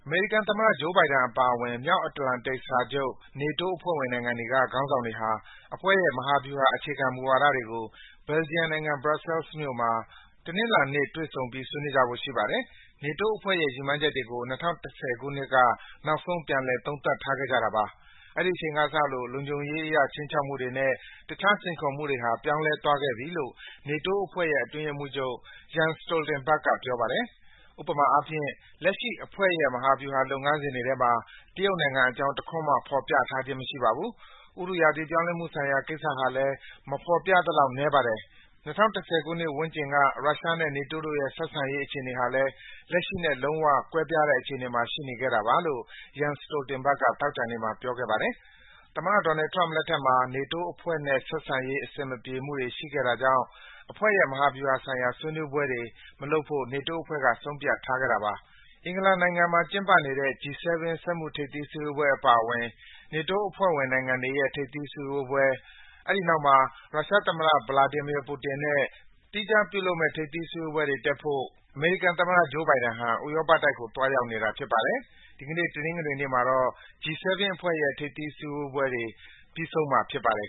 မေရိကန်သမ္မတ Joe Biden အပါအဝင် မြောက်အတ္တလန္တိတ်စာချုပ် NATO အဖွဲ့ဝင် နိုင်ငံတွေက ခေါင်းဆောင်တွေဟာ အဖွဲ့ရဲ့ မဟာဗျူဟာ အခြေခံမူဝါဒတွေကို ဘယ်လ်ဂျီယံနိုင်ငံ ဘရက်ဆဲလ်မြို့မှာ တနင်္လာနေ့တွေ့ဆုံပြီး ဆွေးနွေးကြဖို့ ရှိနေပါတယ်။ NATO အဖွဲ့ရဲ့ ရည်မှန်းချက်တွေကို ၂၀၁၀ ခုနှစ်က နောက်ဆုံး ပြန်လည် သုံးသပ်ထားခဲ့ကြတာပါ။ အဲဒီအချိန်ကစလို့ လုံခြုံရေးအရ ခြိမ်းခြောက်မှုတွေနဲ့ တခြား စိန်ခေါ်မှုတွေဟာ ပြောင်းလဲသွားခဲ့ပြီလို့ NATO အဖွဲ့ရဲ့ အတွင်းရေးမှူးချုပ် Jen Stoltenberg က ပြောပါတယ်။ “ဥပမာအားဖြင့် လက်ရှိအဖွဲ့ရဲ့ မဟာဗျူဟာ လုပ်ငန်းစဉ်တွေထဲမှာ တရုတ်နိုင်ငံအကြောင်း တခွန်းမှ ဖော်ပြထားခြင်း မရှိပါဘူး။ ဥတုရာသီ ပြောင်းလဲမှုဆိုင်ရာ ကိစ္စဟာလည်း မဖော်ပြသလောက် နည်းပါတယ်။ ၂၀၁၀ ခုနှစ်ဝန်းကျင်တုန်းက ရုရှားနဲ့ NATO အဖွဲ့ရဲ့ ဆက်ဆံရေး အခြေအနေဟာလည်း လက်ရှိနဲ့ လုံးဝ ကွဲပြားတဲ့ အနေအထားမှာ ရှိနေခဲ့တာပါ” လို့ Jen Stoltenberg က သောကြာနေ့မှာ ပြောခဲ့ပါတယ်။ သမ္မတ Donald Trump လက်ထက်မှာ NATO အဖွဲ့နဲ့ ဆက်ဆံရေး အဆင်မပြေမှုတွေ ရှိခဲ့တာကြောင့် အဖွဲ့ရဲ့ မဟာဗျူဟာဆိုင်ရာ ဆွေးနွေးပွဲတွေ မပြုလုပ်ဖို့ NATO အဖွဲ့က ဆုံးဖြတ်ထားခဲ့တာပါ။ အင်္ဂလန်နိုင်ငံမှာ ကျင်းပနေတဲ့ G-7 စက်မှုထိပ်သီးစည်းဝေးပွဲ အပါအဝင် NATO အဖွဲ့ဝင် နိုင်ငံတွေရဲ့ ထိပ်သီးစည်းဝေးပွဲ၊ အဲဒီနောက်မှာ ရုရှားသမ္မတ Vladimir Putin နဲ့ သီးခြားပြုလုပ်မယ့် ထိပ်သီးစည်းဝေးပွဲတွေ တက်ဖို့အတွက် အမေရိကန်သမ္မတ Joe Biden ဟာ ဥရောပတိုက်ကို သွားရောက်နေတာ ဖြစ်ပါတယ်။ ဒီကနေ့ တနင်္ဂနွေမှာတော့ G-7 အဖွဲ့ရဲ့ ထိပ်သီးစည်းဝေးပွဲတွေ ပြီးဆုံးမှာ ဖြစ်ပါတယ်